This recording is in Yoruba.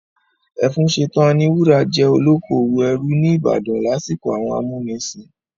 Ẹfúnsetán Aníwúrà jẹ́ olókoòwò ẹrú ní ìbàdàn lásìkò àwọn amúnisìn.